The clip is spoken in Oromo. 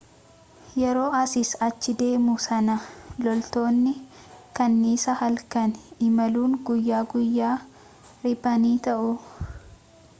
yeroo asiis achi deemuu sana loltootni kanniisaa halkan imaluun guyyaa guyyaa riphanii taawu